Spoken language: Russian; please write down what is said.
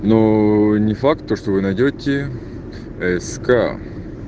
но не факт то что вы найдёте ск